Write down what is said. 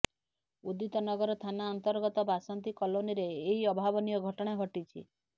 ଉଦିତନଗର ଥାନା ଅନ୍ତର୍ଗତ ବାସନ୍ତୀ କଲୋନୀରେ ଏହି ଅଭାବନୀୟ ଘଟଣା ଘଟିଛି